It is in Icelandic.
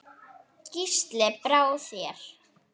Gísli: Brá þér?